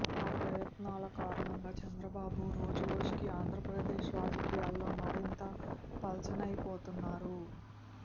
ఆ ప్రయత్నాల కారణంగా చంద్రబాబు రోజురోజుకీ ఆంధ్రప్రదేశ్ రాజకీయాల్లో మరింత పలచనైపోతున్నారు